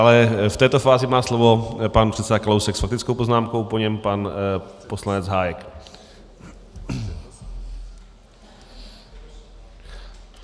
Ale v této fázi má slovo pan předseda Kalousek s faktickou poznámkou, po něm pan poslanec Hájek.